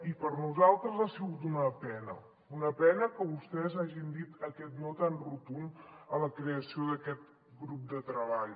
i per a nosaltres ha sigut una pena una pena que vostès hagin dit aquest no tan rotund a la creació d’aquest grup de treball